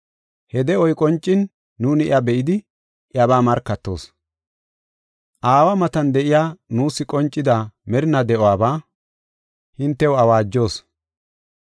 He de7oy qoncin, nuuni iya be7idi, iyabaa markatoos. Aawa matan de7iya nuus qoncida, merinaa de7uwabaa hintew awaajos.